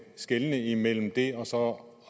skelnes imellem det og så